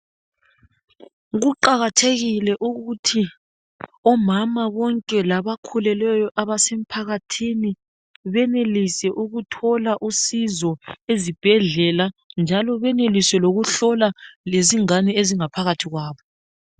Kuqakathekile ukuthi omama bonke labakhulelweyo emphakathini benelise ukuthola usizo ezibhedlela njalo benelise lokuhlolwa izingane ezingaphakathi kwabo.